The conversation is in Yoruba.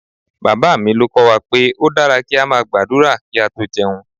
Bàbá mi ló kọ́ wa pé ó dára kí a máa gbàdúrà kí a tó jẹun